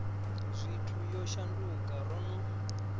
zwithu yo shanduka ro no